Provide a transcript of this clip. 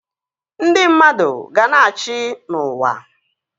Ndị mmadụ ga-na achị n'uwa